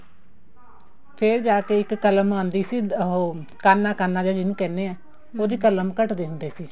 ਫ਼ੇਰ ਜਾ ਕੇ ਇੱਕ ਕਲਮ ਆਉਂਦੀ ਸੀ ਉਹ ਕਾਨਾ ਕਾਨਾ ਜਾ ਜਿਹਨੂੰ ਕਹਿੰਦੇ ਆ ਉਹਦੀ ਕਲਮ ਘਟਦੇ ਹੁੰਦੇ ਸੀ